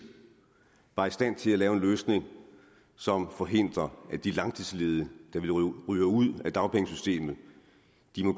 var i stand til at lave en løsning som forhindrer at de langtidsledige der jo ryger ud af dagpengesystemet